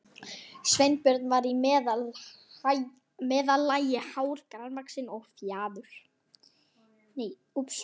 Sveinbjörn var í meðallagi hár, grannvaxinn og fjaður